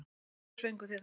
Hvaða svör fenguð þið þá?